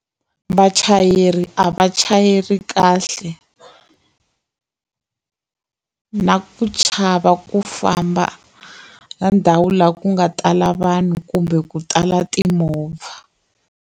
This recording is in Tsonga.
Vachayeri a va chayeli kahle na ku chava ku famba ka ndhawu laha ku nga tala vanhu kumbe ku tala timovha.